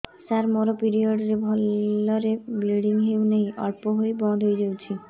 ସାର ମୋର ପିରିଅଡ଼ ରେ ଭଲରେ ବ୍ଲିଡ଼ିଙ୍ଗ ହଉନାହିଁ ଅଳ୍ପ ହୋଇ ବନ୍ଦ ହୋଇଯାଉଛି